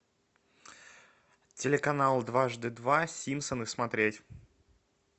телеканал дважды два симпсоны смотреть